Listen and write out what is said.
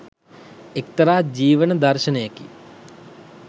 එක්තරා ජීවන දර්ශණයකි